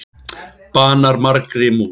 Banar margri mús